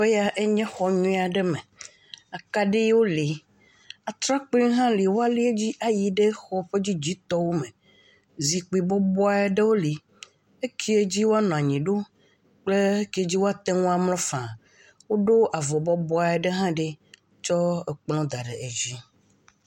Teƒe ya nye xɔ nyuie aɖe me, akaɖiwo le, atrakpuiwo le woalia dzi ayi xɔ ƒe dzidzitɔwo me. Zikpui bɔbɔɖewo li eke dzi woanɔ anyi ɖo kple eke woate ŋu amlɔ fãa. Woɖo avɔ bɔbɔe aɖe ɖi eye wotsɔ kplɔ la da ɖe edzi.